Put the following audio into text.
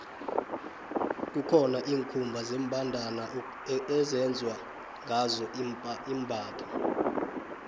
kukhona iinkhumba zembandana ezenzwa ngazo imbatho